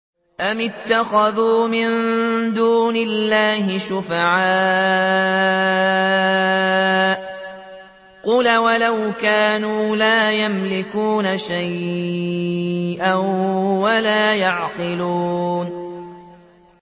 أَمِ اتَّخَذُوا مِن دُونِ اللَّهِ شُفَعَاءَ ۚ قُلْ أَوَلَوْ كَانُوا لَا يَمْلِكُونَ شَيْئًا وَلَا يَعْقِلُونَ